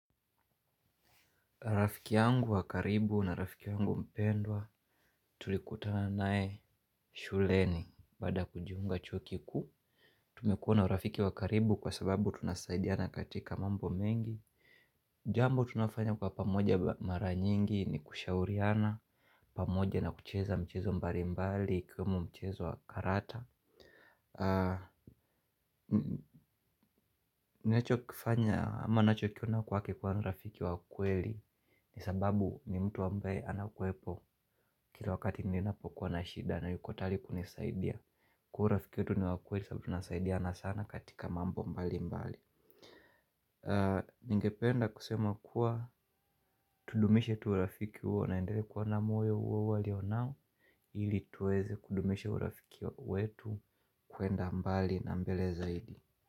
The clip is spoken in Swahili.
Rafiki yangu wa karibu na rafiki yangu mpendwa, tulikutana nae shuleni baada ya kujiunga chuo kikuu. Tumekua na rafiki wakaribu kwa sababu tunasaidiana katika mambo mengi. Jambo tunafanya kwa pamoja mara nyingi ni kushauriana, pamoja na kucheza mchezo mbali mbali ikwemo mchezo wakarata. Ninacho kifanya ama nacho kiona kwake kwa ni rafiki wa kweli. Ni sababu, ni mtu ambaye anakwepo. Kila wakati ninapokuwa na shida na yuko tayari kunisaidia. Kwa urafiki wetu ni wa kweli sabu tunasaidiana sana katika mambo mbali mbali. Ningependa kusema kua tudumishe tu urafiki huo naendelee kwa na moyo uo uo alionano, ilituweze kudumisha urafiki wetu kuenda mbali na mbele zaidi.